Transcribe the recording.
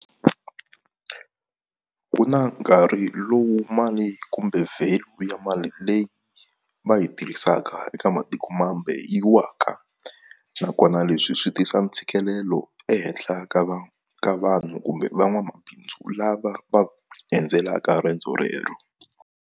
Ku na nkarhi lowu mali kumbe value ya mali leyi va yi tirhisaka eka matikomambe yi waka nakona leswi swi tisa ntshikelelo ehenhla ka va ka vanhu kumbe van'wamabindzu lava va endzelaka rendzo rero.